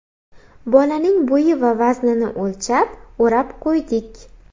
Bolaning bo‘yi va vaznini o‘lchab o‘rab qo‘ydik.